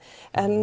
en